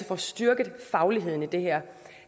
får styrket fagligheden i det her